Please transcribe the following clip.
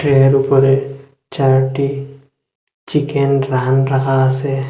এর উপরে চারটি চিকেন রাহন রাখা আছে।